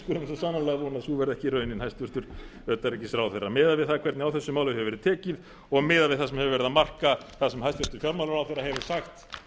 vona að sú verði ekki raunin hæstvirts utanríkisráðherra miðað við það hvernig á þessu máli hefur verið tekið og miðað við það sem er að marka það sem hæstvirtur fjármálaráðherra hefur sagt